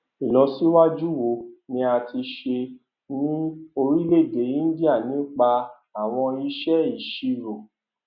ìlọsíwájú wo ni a ti ṣe ní orílẹèdè íńdíà nípa àwọn ìṣe ìṣirò